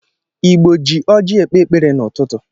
Igbo ji oji ekpe ekpere n'ụtụtụ